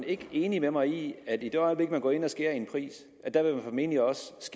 ikke er enig med mig i at man i det øjeblik man går ind og sænker en pris formentlig også